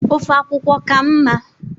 ofe akwukwo ka mma?